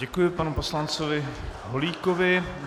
Děkuji panu poslanci Holíkovi.